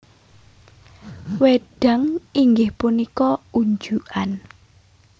Wédang inggih punika unjukan